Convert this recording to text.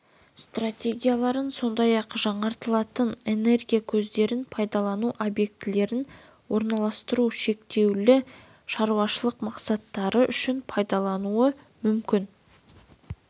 станцияларын сондай-ақ жаңартылатын энергия көздерін пайдалану объектілерін орналастыру шектеулі шаруашылық мақсаттары үшін пайдаланылуы мүмкін